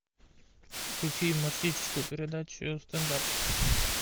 включи юмористическую передачу стенд ап